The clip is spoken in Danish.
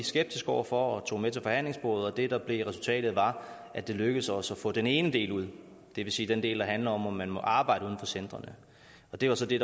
skeptiske over for og tog med til forhandlingsbordet og det der blev resultatet var at det lykkedes os at få den ene del ud det vil sige den del der handler om om man må arbejde uden for centrene det var så det